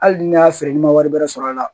Hali ni ne y'a feere n'i ma wari bɛrɛ sɔrɔ a la